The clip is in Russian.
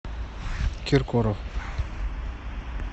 киркоров